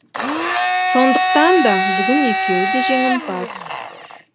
сондықтан да бүгін екеуі де жеңімпаз